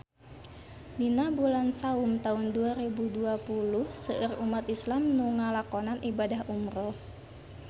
Dina bulan Saum taun dua rebu dua puluh seueur umat islam nu ngalakonan ibadah umrah